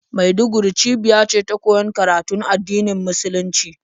Maiduguri cibiya ce ta koyon karatun addinin musulunci,